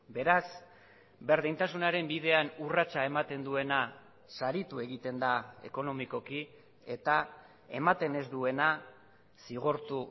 beraz berdintasunaren bidean urratsa ematen duena saritu egiten da ekonomikoki eta ematen ez duena zigortu